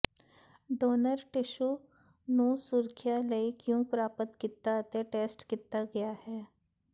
donor tissue ਨੂੰ ਸੁਰੱਖਿਆ ਲਈ ਕਿਉਂ ਪ੍ਰਾਪਤ ਕੀਤਾ ਅਤੇ ਟੈਸਟ ਕੀਤਾ ਗਿਆ ਹੈ